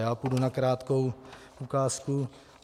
Já půjdu na krátkou ukázku.